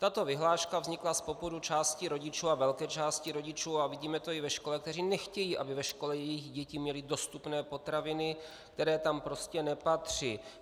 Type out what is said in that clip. Tato vyhláška vznikla z popudu části rodičů, a velké části rodičů, a vidíme to i ve škole, kteří nechtějí, aby ve škole jejich děti měly dostupné potraviny, které tam prostě nepatří.